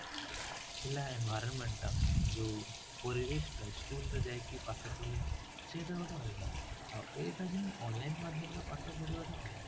ଥିଲା environment ଟା ଯୋଉ ପରିବେଶ ଟା school କୁ ଯାଇକି ପାଠ ପଢିବା ସେତ ଗୋଟେ ଅଲଗା ଆଉ ଏଇଟା ଯେମିତି online ମାଧ୍ୟମ ରେ ପାଠ ପଢିବା ଟା ଅଲଗା